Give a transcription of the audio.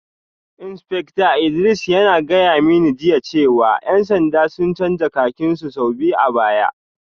Insfekta Idris yana gaya mani jiya cewa ‘yan sanda sun canza kakin su sau biyu a baya